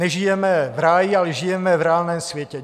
Nežijeme v ráji, ale žijeme v reálném světě.